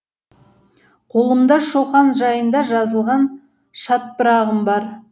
қолымда шоқан жайында жазылған шатпырағым бар